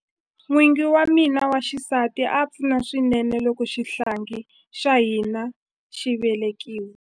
N'wingi wa mina wa xisati a pfuna swinene loko xihlangi xa hina xi velekiwa.